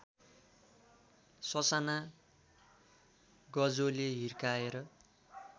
ससाना गजोले हिर्काएर